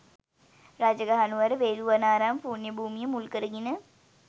රජගහ නුවර වේළුවනාරාම පුණ්‍ය භූමිය මුල් කරගෙන